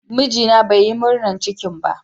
Mijina bai Yi murnan cikin ba.